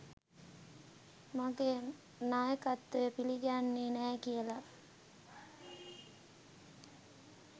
මගේ නායකත්වය පිළිගන්නේ නෑ කියලා.